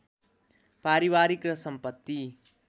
पारिवारिक र सम्पत्ति